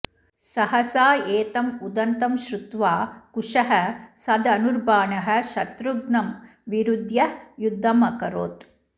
सहसा एतम् उदन्तं श्रुत्वा कुशः सधनुर्बाणः शत्रुघ्नं विरुद्ध्य युद्धमकरोत्